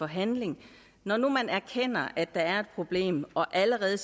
handling når nu man erkender at der er et problem og allerede